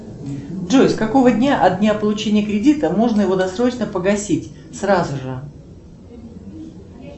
джой с какого дня от дня получения кредита можно его досрочно погасить сразу же